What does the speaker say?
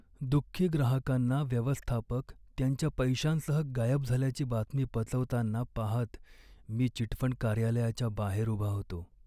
दुःखी ग्राहकांना व्यवस्थापक त्यांच्या पैशांसह गायब झाल्याची बातमी पचवताना पाहत मी चिटफंड कार्यालयाच्या बाहेर उभा होतो.